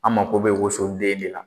An mako bɛ woso den de la.